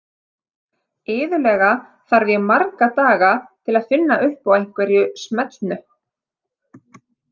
Iðulega þarf ég marga daga til að finna upp á einhverju smellnu.